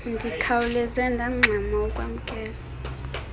ndikhawuleze ndangxama ukwamkela